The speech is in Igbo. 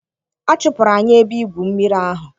Achụpụrụ anyị ebe igwu mmiri ahụ.